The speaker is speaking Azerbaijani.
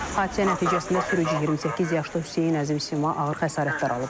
Hadisə nəticəsində sürücü 28 yaşlı Hüseyn Əzimli ağır xəsarətlər alıb.